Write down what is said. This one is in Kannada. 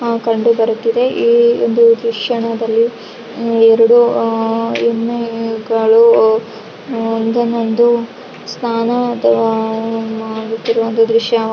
ಆಹ್ಹ್ ಕಂಡಿಬರುತ್ತಿದೆ ಇಲ್ಲಿ ಒಂದು ದ್ರಶ್ಯನಾದಲ್ಲಿ ಆಹ್ಹ್ ಎರಡು ಆಹ್ಹ್ ಎಮ್ಮೆಗಳು ಒಂದನ್ನೊಂದು ಸ್ನಾನ ಮಾಡುತ್ತಿರುವ ದೃಶ್ಯ.